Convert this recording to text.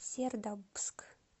сердобск